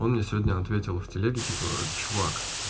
он мне сегодня ответил в телеге типа чувак